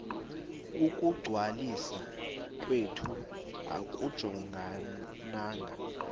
ukungcwaliswa kwethu akujongananga